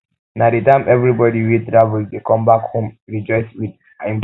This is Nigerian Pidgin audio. na de time everybody wey travel dey come back home come rejoice with im people